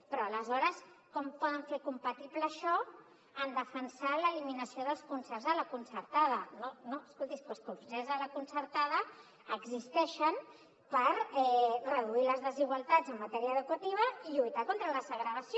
però aleshores com poden fer compatible això amb defensar l’eliminació dels concerts a la concertada no escolti és que els concerts de la concertada existeixen per reduir les desigualtats en matèria educativa i lluitar contra la segregació